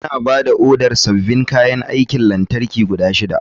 Muna ba da odar sabbin kayan aikin lantarki guda shida.